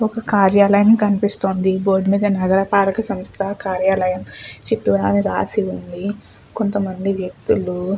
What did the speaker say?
కార్యాలయం కనిపిస్తుంది బోర్డు మీద నగరపాలక సమస్త కార్యాలయము చిత్తూరు అని రాసి ఉంది కొంతమంది వ్యక్తులు.